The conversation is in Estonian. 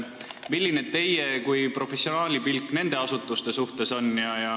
Milline on teie kui professionaali pilk nende asutuste suhtes?